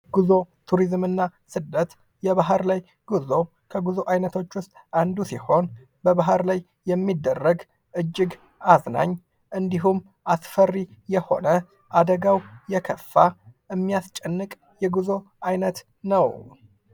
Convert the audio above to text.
ጉዞ፣ ቶሪዝምና ስደት፦ የባህር ላይ ጉዞ፦ የባህር ላይ ጉዞ ከጉዞ አይነቶች መካከል አንዱ ሲሆን በባህር ላይ የሚደረግ እጅግ በጣም አዝናኝ ፣ አደጋው የከፋ እንዲሁም የሚያስጨንቅ የጉዙ አይነቶ ነው።